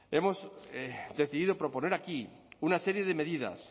hemos decidido proponer aquí una serie de medidas